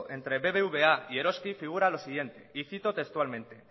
entre bbva y eroski figura lo siguiente y cito textualmente